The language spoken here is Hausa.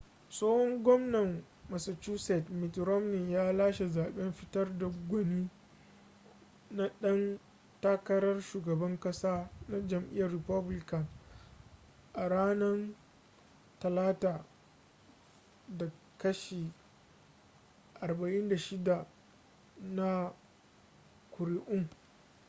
tsohon gwamnan massachusetts mitt romney ya lashe zaɓen fitar da gwani na ɗan takarar shugaban ƙasa na jam'iyyar republican a ranar talata da kashi 46 na kuri'un